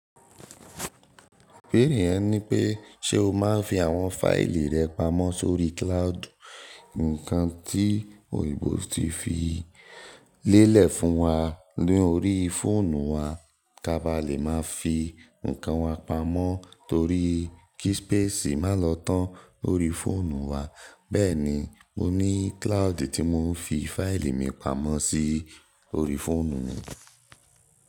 Ìbẹ́ẹ̀rè yẹn ní pé, ṣe o máa ń fi àwọn fáìlì rẹ pamọ́ sórí cloud? Ǹkan tí òyìnbó ti fi lélẹ̀ fún wa lórí fóònù wa, kí a bá lè má fi ǹkan wa pamọ́ torí kí space má lọ tán lórí fóònù wa. Bẹ́ẹ̀ni mo ní cloud tí mò ń fi fáìlì mi pamọ́ sí lorí fóònù mi.